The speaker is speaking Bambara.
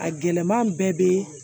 A gɛlɛman bɛɛ be